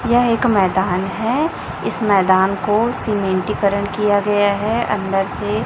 यह एक मैदान है। इस मैदान को सीमेंटीकरण किया गया है अंदर से।